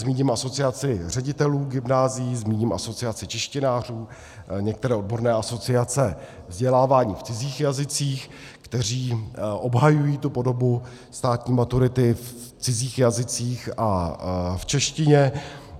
Zmíním Asociaci ředitelů gymnázií, zmíním Asociaci češtinářů, některé odborné asociace vzdělávání v cizích jazycích, které obhajují tu podobu státní maturity v cizích jazycích a v češtině.